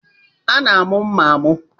A na-amụ mma amụ